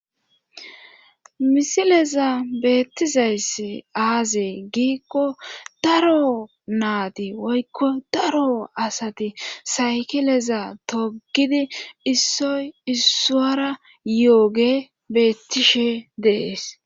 misileza beettizayssi aaze giikko daro naati woykko daro asati saykileza togidi issoy isswara yooge beettishe dee'es